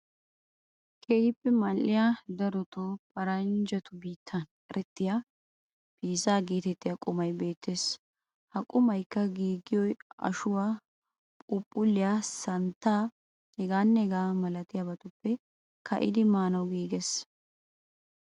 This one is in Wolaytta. Keehippe mal"iyaa darotoo paranjatu biittan erettiya "piizza" geetettiya qumay beettes. Ha qumaykka giigiyoo ashuwaa, phuuphulliyaa, santtaa heegaanne hegaa malatiyabatuppe ka"idi maanawu giiges.